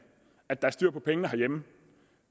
at der er styr på pengene herhjemme